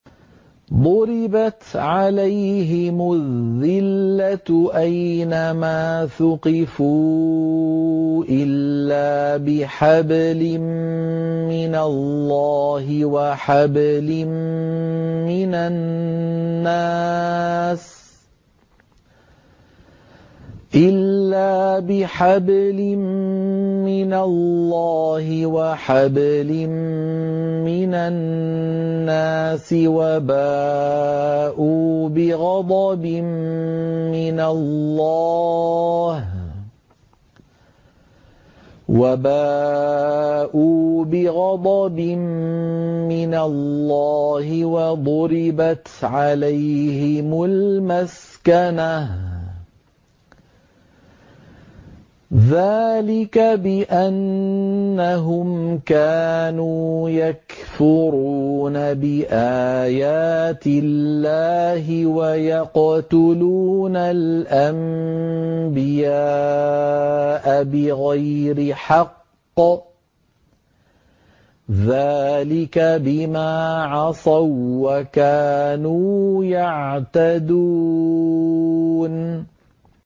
ضُرِبَتْ عَلَيْهِمُ الذِّلَّةُ أَيْنَ مَا ثُقِفُوا إِلَّا بِحَبْلٍ مِّنَ اللَّهِ وَحَبْلٍ مِّنَ النَّاسِ وَبَاءُوا بِغَضَبٍ مِّنَ اللَّهِ وَضُرِبَتْ عَلَيْهِمُ الْمَسْكَنَةُ ۚ ذَٰلِكَ بِأَنَّهُمْ كَانُوا يَكْفُرُونَ بِآيَاتِ اللَّهِ وَيَقْتُلُونَ الْأَنبِيَاءَ بِغَيْرِ حَقٍّ ۚ ذَٰلِكَ بِمَا عَصَوا وَّكَانُوا يَعْتَدُونَ